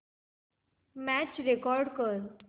match record कर